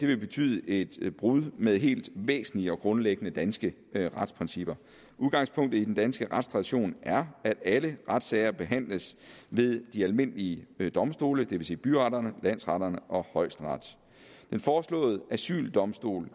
vil betyde et brud med helt væsentlige og grundlæggende danske retsprincipper udgangspunktet i den danske retstradition er at alle retssager behandles ved de almindelige domstole det vil sige byretterne landsretterne og højesteret den foreslåede asyldomstol